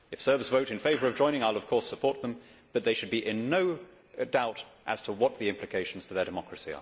If Serbs vote in favour of joining I will of course support them, but they should be in no doubt as to what the implications for their democracy are.